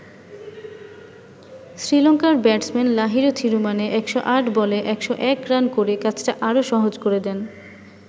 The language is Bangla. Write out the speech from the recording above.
শ্রীলংকার ব্যাটসম্যান লাহিরু থিরুমানে ১০৮ বলে ১০১ রান করে কাজটা আরো সহজ করে দেন।